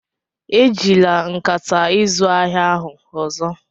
Ejila nkata izu ahịa ahụ ọzọ!